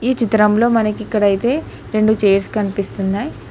ఈ చిత్రంలో మనకి ఇక్కడ అయితే రెండు చైర్స్ కనిపిస్తున్నాయి.